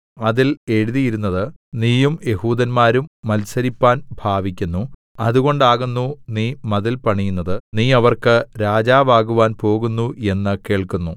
അതിൽ എഴുതിയിരുന്നത് നീയും യെഹൂദന്മാരും മത്സരിപ്പാൻ ഭാവിക്കുന്നു അതുകൊണ്ടാകുന്നു നീ മതിൽ പണിയുന്നത് നീ അവർക്ക് രാജാവാകുവാൻ പോകുന്നു എന്ന് കേൾക്കുന്നു